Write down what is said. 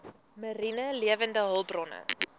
mariene lewende hulpbronne